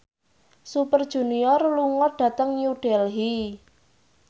Super Junior lunga dhateng New Delhi